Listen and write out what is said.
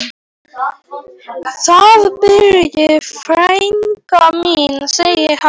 Þar býr frænka mín, sagði ég.